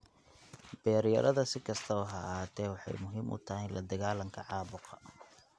Beeryarada, si kastaba ha ahaatee, waxay muhiim u tahay la dagaalanka caabuqa.